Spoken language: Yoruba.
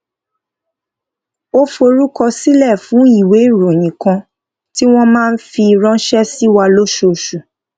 ó forúkọ sílè fún ìwé ìròyìn kan tí wón máa ń fi ránṣé sí wa lóṣooṣù